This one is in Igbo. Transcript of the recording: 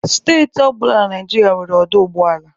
Steeti ọ bụla dị na Naịjirịa nwere ọdọ ụgbọala.